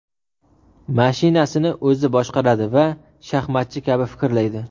Mashinasini o‘zi boshqaradi va shaxmatchi kabi fikrlaydi.